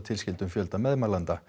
tilskyldum fjölda meðmælenda